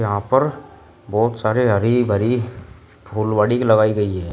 यहां पर बहुत सारी हरी भरी फुलवाड़ी लगाई गई है।